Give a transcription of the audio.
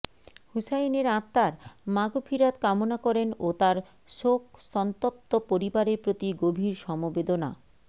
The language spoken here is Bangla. হুসাইনের আত্মার মাগফিরাত কামনা করেন ও তার শোকসন্তপ্ত পরিবারের প্রতি গভীর সমবেদনা